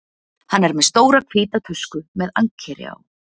Hann er með stóra hvíta tösku með ankeri á.